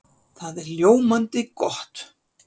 Það er ljómandi gott!